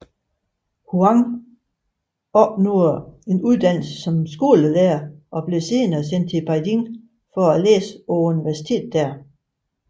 Huang opnåede uddannelse som skolelærer og blev senere sendt til Beijing for læse på universitetet der